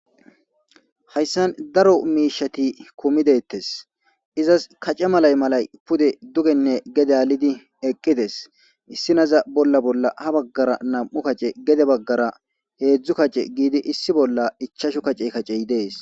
hayssan daro miishati kumi dettes izas kace malay malay pude dugenne gede alidi eqqides issinaza bolla bolla ha baggara nam'u kace gede baggara heedzdzu kace giidi issi bolla ichashu kace kacey dees